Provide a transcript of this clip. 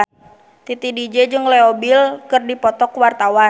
Titi DJ jeung Leo Bill keur dipoto ku wartawan